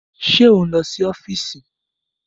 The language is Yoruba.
Ṣé ò ń lọ sí ọ́fíìsì?